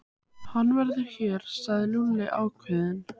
Hann verður hér, sagði Lúlli ákveðinn.